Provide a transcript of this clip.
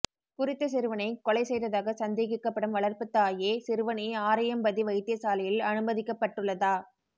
குறித்த சிறுவனை கொலை செய்ததாக சந்தேகிக்கப்படும் வளர்ப்பு தாயே சிறுவனை ஆரையம்பதி வைத்தியசாலையில் அனுமதிக்கப்பட்டுள்ளதா